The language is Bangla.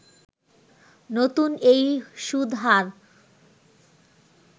নতুন এই সুদ হার